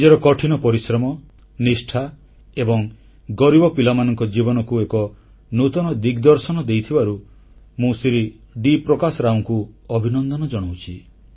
ନିଜର କଠିନ ପରିଶ୍ରମ ନିଷ୍ଠା ଏବଂ ଗରିବ ପିଲାମାନଙ୍କ ଜୀବନକୁ ଏକ ନୂତନ ଦିଗଦର୍ଶନ ଦେଇଥିବାରୁ ମୁଁ ଶ୍ରୀ ଡି ପ୍ରକାଶ ରାଓଙ୍କୁ ଅଭିନନ୍ଦନ ଜଣାଉଛି